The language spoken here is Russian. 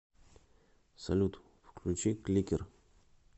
салют включи кликер